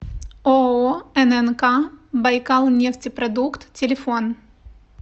ооо ннк байкалнефтепродукт телефон